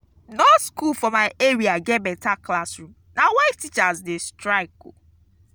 no skool for my area get beta classroom na why teachers dey strike.